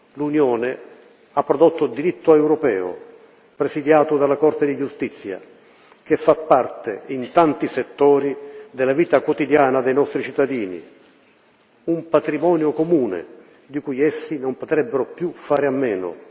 L'Unione ha prodotto diritto europeo presidiato dalla Corte di giustizia che fa parte, in tanti settori, della vita quotidiana dei nostri cittadini un patrimonio comune di cui essi non potrebbero più fare a meno.